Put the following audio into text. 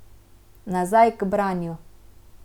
Nazaj k branju.